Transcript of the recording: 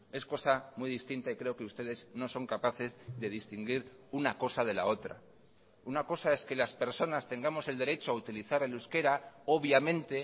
es cosa muy distinta y creo que ustedes no son capaces de distinguir una cosa de la otra una cosa es que las personas tengamos el derecho a utilizar el euskera obviamente